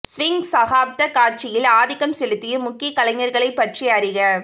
swing சகாப்த காட்சியில் ஆதிக்கம் செலுத்திய முக்கிய கலைஞர்களைப் பற்றி அறிக